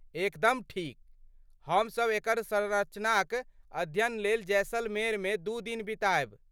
एकदम ठीक! हमसभ एकर संरचनाक अध्ययन लेल जैसलमेरमे दू दिन बितायब।